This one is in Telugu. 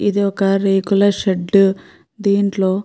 ఇది ఒక రేకుల షెడ్ . దీంట్లో --